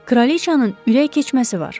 Kraliçanın ürək keçməsi var.